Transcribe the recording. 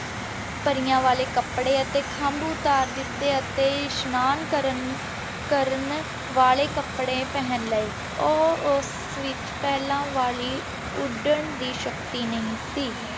ਪਾਰਿਯਾੰ ਵਾਲੇ ਕਪਰੀ ਤੇ ਖੰਭਾ ਉਤਰ ਦਿਤੀ ਤੇ ਅਸ਼ਨਾਨ ਕਰਨ ਕਰਨ ਵਾਲੇ ਕਪਰੀ ਪਹਨ ਲੇ ਊ ਓਸ ਵਿਚ ਪੇਹ੍ਲਾਂ ਵਾਲੀ ਉੜਨ ਦੀ ਸ਼ਕਤੀ ਨਹੀ ਸੀ